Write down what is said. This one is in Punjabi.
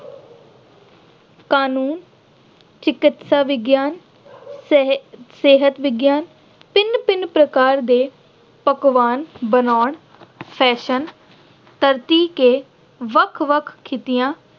ਕਾਨੂੰਨ, ਚਕਿਤਸਾ ਵਿਗਿਆਨ, ਸਿਹ ਅਹ ਸਿਹਤ ਵਿਗਿਆਨ, ਭਿੰਨ-ਭਿੰਨ ਪ੍ਰਕਾਰ ਦੇ ਪਕਵਾਨ ਬਣਾਉਣ, fashion, ਧਰਤੀ ਤੇ ਵੱਖ-ਵੱਖ ਖਿੱਤਿਆਂ